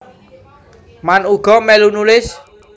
Mann uga mèlu nulis